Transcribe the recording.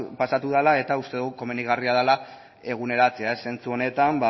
pasatu dela eta uste dugu komenigarria dela eguneratzea zentzu honetan